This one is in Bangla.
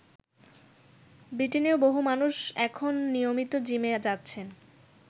ব্রিটেনেও বহু মানুষ এখন নিয়মিত জিমে যাচ্ছেন।